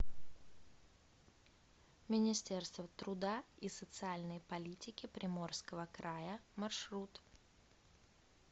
министерство труда и социальной политики приморского края маршрут